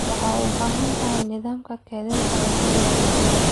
Waxaad u baahan tahay nidaamka kaydinta cuntada digaaga.